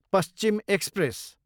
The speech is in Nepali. पश्चिम एक्सप्रेस